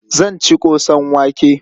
Zan ci ƙosan wake.